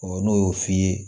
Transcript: n'o y'o f'i ye